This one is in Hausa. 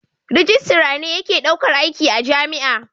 Rijistara ne yake daukar aiki a jami'a.